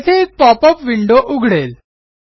येथे एक pop up window उघडेल